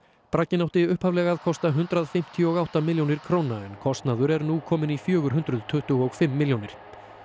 bragginn átti upphaflega að kosta hundrað fimmtíu og átta milljónir króna en kostnaður er nú kominn í fjögur hundruð tuttugu og fimm milljónir